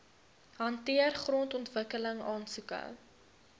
hanteer grondontwikkeling aansoeke